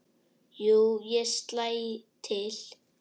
Jú, ég slæ til